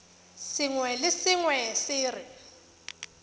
sengwe le sengwe se re